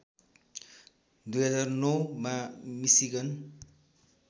२००९ मा मिसिगन